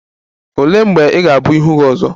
Olee mgbe ị ga-abụ ihu gị ọzọ?